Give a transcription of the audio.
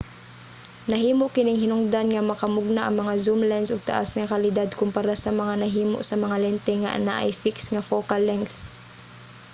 nahimo kining hinungdan nga makamugna ang mga zoom lense og taas nga kalidad kompara sa mga nahimo sa mga lente nga anaay fixed nga focal length